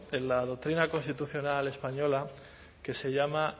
en la doctrina constitucional española que se llama